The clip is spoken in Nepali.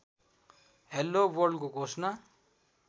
हेलो वर्ल्डको घोषणा